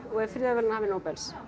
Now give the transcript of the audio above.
og er friðarverðlaunahafi Nóbels